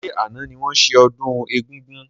Ṣé àna ni wọn ṣe ọdún egúngún?